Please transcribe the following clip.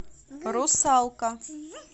русалка